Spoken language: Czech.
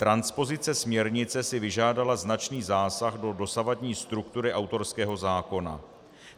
Transpozice směrnice si vyžádala značný zásah do dosavadní struktury autorského zákona.